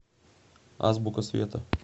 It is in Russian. азбука света